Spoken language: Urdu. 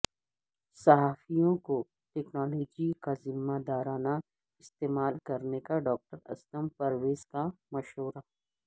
صحافیوں کو ٹکنالوجی کا ذمہ دارانہ استعمال کرنے کا ڈاکٹر اسلم پرویز کا مشورہ